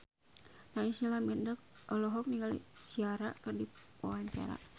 Naysila Mirdad olohok ningali Ciara keur diwawancara